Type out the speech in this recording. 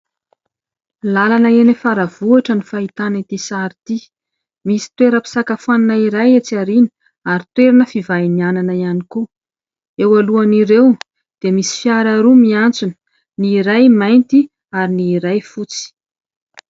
Lalana eny Faravohitra ny fahitana ity sary ity. Misy toeram-pisakafoanana iray etsy aoriana, ary toerana fivahinianana ihany koa. Eo alohan'ireo dia misy fiara roa miantsona, ny iray mainty ary ny iray fotsy.